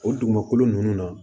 O dugumakolo ninnu na